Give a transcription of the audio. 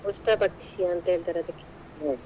ಉಷ್ಟ್ರ ಪಕ್ಷಿ ಅಂತ ಹೇಳ್ತಾರೆ ಅದಕ್ಕೆ.